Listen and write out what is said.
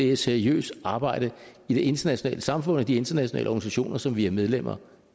er seriøst arbejde i det internationale samfund og de internationale organisationer som vi er medlemmer